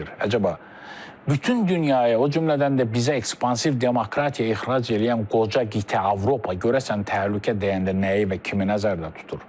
Əcaba bütün dünyaya, o cümlədən də bizə ekspansiv demokratiya ixrac eləyən qoca qitə Avropa görəsən təhlükə dəyəndə nəyi və kimi nəzərdə tutur?